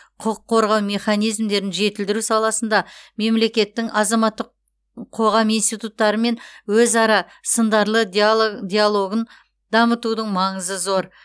құқық қорғау механизмдерін жетілдіру саласында мемлекеттің азаматтық қоғам институттарымен өзара сындарды диалогын дамытудың маңызы зор